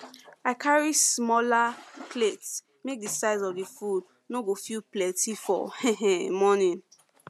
i carry smaller i carry smaller plates make the size of the food no go feel plenty for um morning